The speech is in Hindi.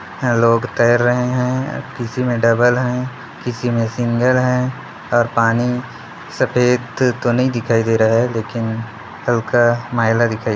अ लोग तैर रहे है किसी में डबल है किसी में सिंगल है और पानी सफ़ेद तो नहीं दिखाई दे रहा है लेकिन हल्का मैला दिखाई--